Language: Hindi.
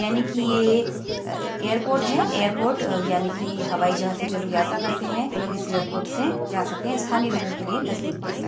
यानि की यह एयरपोर्ट है। एयरपोर्ट यानि की हवाई जहाज से जो लोग यात्रा करते हैं वो लोग इस एयरपोर्ट से जा सकते हैं। स्थानी लोगो के लिए नजदीक पड़ता है।